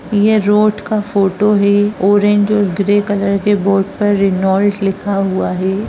ये रोड का फोटो है ऑरेंज और ग्रे कलर के बोर्ड पर रेनॉल्ट लिखा हुआ है।